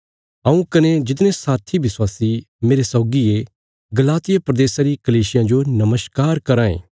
हऊँ कने जितने साथी विश्वासी मेरे सौगी ये गलातिया प्रदेशा री कलीसियां जो नमस्कार कराँ ये